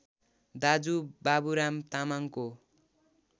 दाजु बाबुराम तामाङको